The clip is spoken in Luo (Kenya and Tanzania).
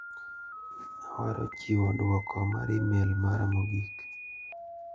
Awaro chiwo duoko mar imel mara mogik.